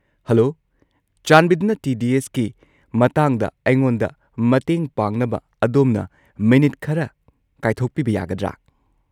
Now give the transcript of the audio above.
Hello, ꯆꯥꯟꯕꯤꯗꯨꯅ ꯇꯤ.ꯗꯤ.ꯑꯦꯁ.ꯀꯤ ꯃꯇꯥꯡꯗ ꯑꯩꯉꯣꯟꯗ ꯃꯇꯦꯡ ꯄꯥꯡꯅꯕ ꯑꯗꯣꯝꯅ ꯃꯤꯅꯤꯠ ꯈꯔ ꯀꯥꯏꯊꯣꯛꯄꯤꯕ ꯌꯥꯒꯗ꯭ꯔꯥ?